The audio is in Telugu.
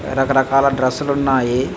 రక రకాల డ్రెస్ లు ఉన్నాయి.